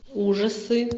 ужасы